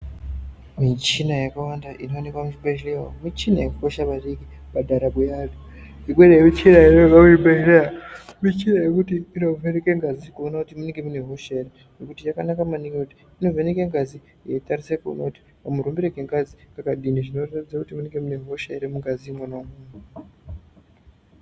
Michina yakawanda inooneka muzvibhedhlera umo michina yakakosha maningi pandaramo yeantu. Imweni yemichina inoonekwa muzvibhedhlera michina yekuti inovheneka ngazi kuti munenge munehosha ere. Nekuti yakanaka maningi inovheneka ngazi yeitarisa kuona kuti kamurumbire kengazi kakadini zvinoratidza kuti munenge mune hosha ere, mungazi imwonamwo.